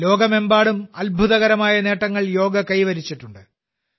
ലോകമെമ്പാടും നിരവധി അത്ഭുതകരമായ നേട്ടങ്ങൾ യോഗ കൈവരിച്ചിട്ടുണ്ട്